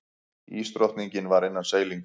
Ísdrottningin var innan seilingar.